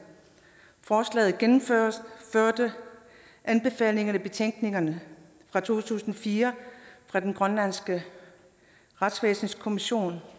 forslaget gennemførte anbefalingerne i betænkningen fra to tusind og fire fra den grønlandske retsvæsenskommission